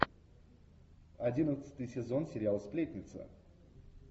одиннадцатый сезон сериал сплетница